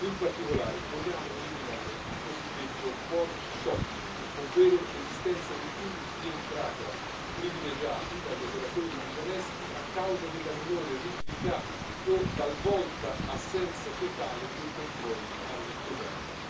In particolare, vogliamo eliminare il cosiddetto port shopping ovvero l'esistenza di punti di entrata privilegiati dagli operatori disonesti a causa della minore rigidità o talvolta assenza totale dei controlli alle dogane.